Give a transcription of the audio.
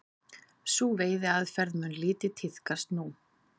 Sú veiðiaðferð mun lítið tíðkast nú.